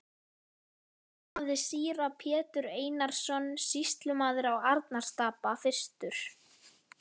Þá hafði síra Pétur Einarsson sýslumaður á Arnarstapa fyrstur